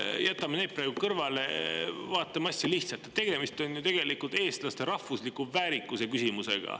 Jätame need praegu kõrvale, vaatame asja lihtsalt: tegemist on ju tegelikult eestlaste rahvusliku väärikuse küsimusega.